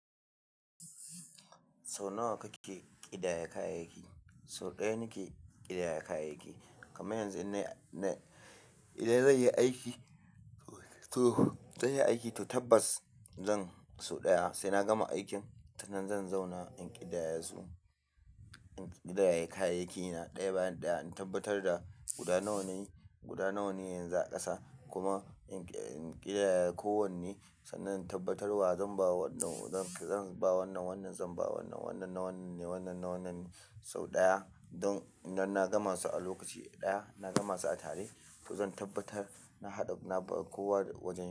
Sau nawa kake ƙidayar kayayyaki? Sau ɗaya nake ƙidayar kayayyaki. Kuma yanzu idan zan yi aiki, to zan yi aiki, to tabbas zan sau ɗaya sai na gama aikin, sannan zan zauna in ƙidaya su, in ƙidaya kayayyakina ɗaya bayan ɗaya, in tabbatar da guda nawa ne, guda nawa ne yanzu a ƙasa. Kuma in ƙidaya kowanne sannan in tabbatar wa zan ba wannan, zan ba wannan wannan, zan ba wannan wannan na wannan ne, wannan na wannan ne sau ɗaya. Don idan na gama su a lokaci ɗaya, na gama su a tare to zan tabbatar na haɗu na bar kowa wajen ya.